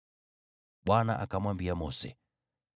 Bwana akamwambia Mose,